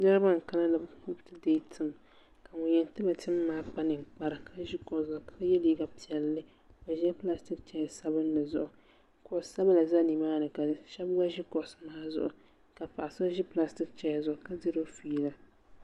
Niriba n kana ni bɛ ti deegi tim ka ŋun yen tiba tim maa kpa ninkpara ka ʒi kuɣu zuɣu ka ye liiga piɛlli ka bɛ ʒila pilastiki cheya sabinli zuɣu kuɣu sabila za nimaani sheba gba ʒi kuɣusi maa zuɣu ka paɣa so ʒi pilastiki cheya zuɣu ka diriba fiila.